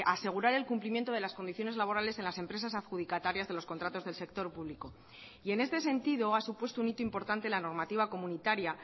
a asegurar el cumplimiento de las condiciones laborales en las empresas adjudicatarias de los contratos del sector público y en este sentido ha supuesto un hito importante la normativa comunitaria